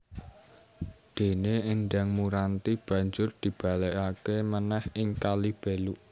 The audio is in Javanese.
Dene Endang Muranti banjur dibalekake manèh ing Kalibeluk